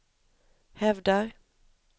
hävdar